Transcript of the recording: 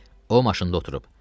O maşında oturub.